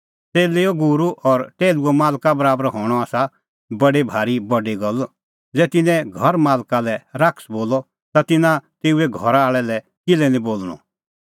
च़ेल्लेओ गूरू और टैहलूओ मालका बराबर हणअ आसा बडी भारी बडी गल्ल ज़ै तिन्नैं घर मालका लै शैतान बोलअ ता तिन्नां तेऊए घरा आल़ै लै किल्है निं बोल़णअ